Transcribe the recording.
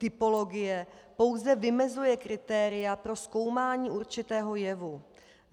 Typologie pouze vymezuje kritéria pro zkoumání určitého jevu.